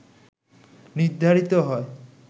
নির্ধারিত হয়